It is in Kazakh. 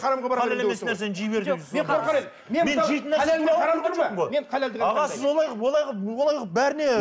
аға сіз олай қылып олай қылып олай қылып бәріне